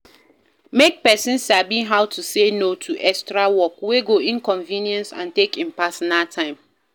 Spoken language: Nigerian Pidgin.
Make persin Sabi how to say No to extra work wey go inconvience and take in personal time